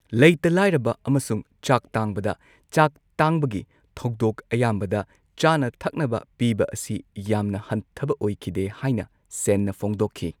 ꯂꯩꯇ ꯂꯥꯏꯔꯕ ꯑꯃꯁꯨꯡ ꯆꯥꯛ ꯇꯥꯡꯕꯗ, ꯆꯥꯛ ꯇꯥꯡꯕꯒꯤ ꯊꯧꯗꯣꯛ ꯑꯌꯥꯝꯕꯗ ꯆꯥꯅ ꯊꯛꯅꯕ ꯄꯤꯕ ꯑꯁꯤ ꯌꯥꯝꯅ ꯍꯟꯊꯕ ꯑꯣꯏꯈꯤꯗꯦ ꯍꯥꯏꯅ ꯁꯦꯟꯅ ꯐꯣꯡꯗꯣꯛꯈꯤ ꯫